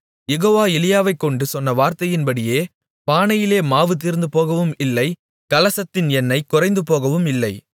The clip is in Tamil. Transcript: யெகோவா எலியாவைக்கொண்டு சொன்ன வார்த்தையின்படியே பானையிலே மாவு தீர்ந்துபோகவும் இல்லை கலசத்தின் எண்ணெய் குறைந்துபோகவும் இல்லை